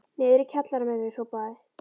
Niður í kjallara með þau hrópaði